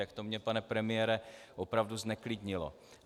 Tak to mě, pane premiére, opravdu zneklidnilo.